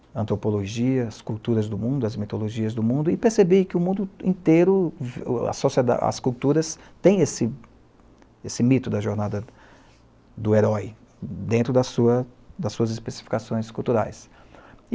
a antropologia, as culturas do mundo, as mitologias do mundo, e percebi que o mundo inteiro, a a sociedade, as culturas, tem esse esse mito da jornada do herói dentro das suas, das suas especificações culturais.